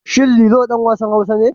Shin Lilo ɗan wasan Hausa ne?